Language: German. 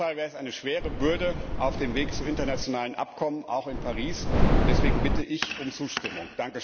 Auf jeden Fall wäre es eine schwere Bürde, auf dem Weg zu internationalen Abkommen, auch in Paris, und deswegen bitte ich um Zustimmung.